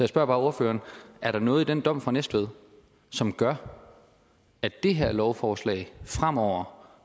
spørger bare ordføreren er der noget i den dom fra næstved som gør at det her lovforslag fremover